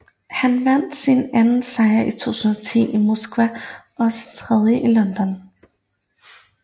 Han vandt sin anden sejr i 2010 i Moskva og sin tredje i London